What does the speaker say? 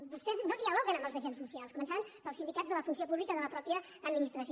vostès no dialoguen amb els agents socials començant pels sindicats de la funció pública de la mateixa administració